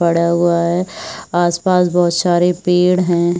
पड़ा हुआ है आस-पास बहोत सारे पेड़ है।